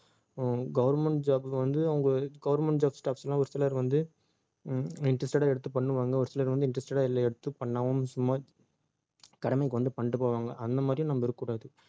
உம் government job க்கு வந்து அவங்க government job staffs எல்லாம் ஒரு சிலர் வந்து உம் interested ஆ எடுத்து பண்ணுவாங்க ஒரு சிலர் வந்து interested ஆ இல்லை எடுத்து பண்ணாம சும்மா கடமைக்கு வந்து பண்ணிட்டுப் போவாங்க அந்த மாதிரியும் நம்ம இருக்கக் கூடாது